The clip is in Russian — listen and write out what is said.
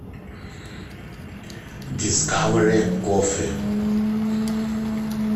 дискавери кофи